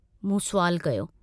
मूं सुवालु कयो।